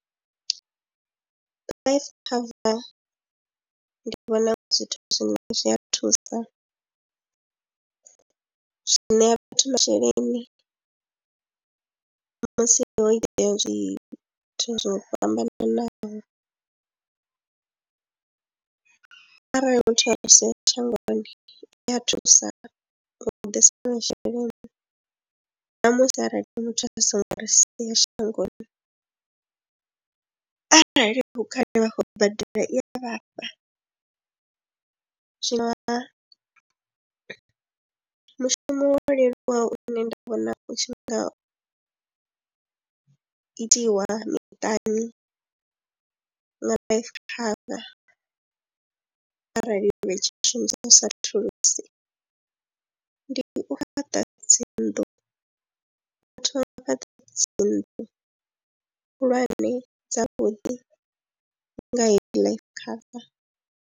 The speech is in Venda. Life cover ndi vhona u nga zwithu zwine zwi a thusa, zwi ṋea vhathu masheleni musi ho itea zwithu zwo fhambananaho arali muthu a si tsheho shangoni i a thusa u ḓisa masheleni na musi arali muthu a songo ri sia shangoni arali hu kale vha khou badela i ya vhafha zwa mushumo wa u leluwa une nṋe nda vhona u tshi nga itiwa miṱani nga life cover arali yo vha i tshi shumisa thulusi ndi u fhaṱa dzi nnḓu, vha thoma u fhaṱa dzi nnḓu khulwane dzavhuḓi nga heyi life cover.